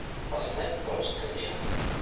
поставь просто леру